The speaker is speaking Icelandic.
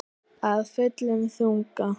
Af fullum þunga.